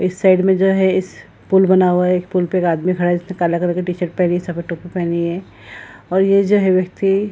इस साइड में जो है इस पूल बना हुआ है एक पूल पे एक आदमी खड़ा है इसने काला कलर की टी-शर्ट पेहनी है सफेद टोपी पेहनी है और ये जो है व्यक्ति --